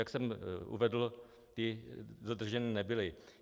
Jak jsem uvedl, ty dodrženy nebyly.